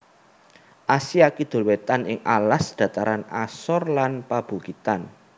Asia Kidul Wétan ing alas dhataran asor lan pabukitan